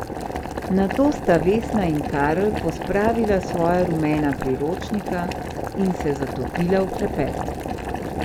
Nato sta Vesna in Karl pospravila svoja rumena priročnika in se zatopila v klepet.